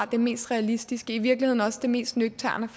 det mest realistiske og i virkeligheden også det mest nøgterne